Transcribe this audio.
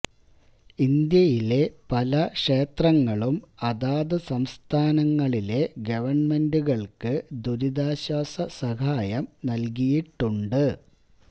ഇന്ത്യയിലെ പല ക്ഷേത്രങ്ങളും അതാത് സംസ്ഥാനങ്ങളിലെ ഗവൺമെന്റുകൾക്ക് ദുരിതാശ്വാസ സഹായം നൽകിയിട്ടുണ്ട്